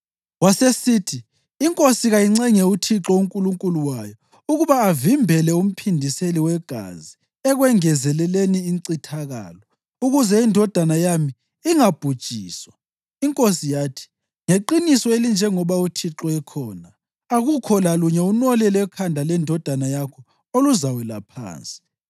Wasesithi, “Inkosi kayincenge uThixo uNkulunkulu wayo ukuba avimbele umphindiseli wegazi ekwengezeleleni incithakalo, ukuze indodana yami ingabhujiswa.” Inkosi yathi, “Ngeqiniso elinjengoba uThixo ekhona, akukho lalunye unwele lwekhanda lendodana yakho oluzawela phansi.”